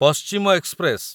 ପଶ୍ଚିମ ଏକ୍ସପ୍ରେସ